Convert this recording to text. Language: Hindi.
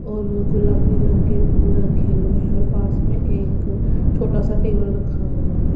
और गुलाबी रंग के फूल रखे हुए हैं और पास में एक छोटा सा टेबल रखा हुआ है।